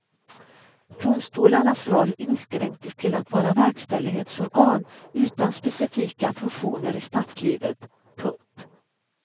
Domstolarnas roll inskränktes till att vara verkställighetsorgan utan specifika funktioner i statslivet. punkt